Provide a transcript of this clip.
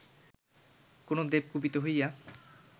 কোন দেব কুপিত হইয়া